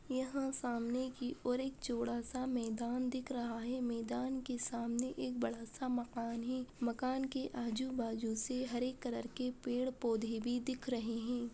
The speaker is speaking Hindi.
यहाँ सामने की ओर एक चोड़ा सा मैदान दिख रहा है। मैदान के सामने एक बड़ा सा मकान हैं। मकान के आजू बाजू से हरे कलर के पेड़ पौधे भी दिख रहे हैं।